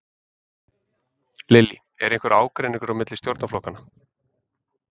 Lillý: Er einhver ágreiningur á milli stjórnarflokkanna?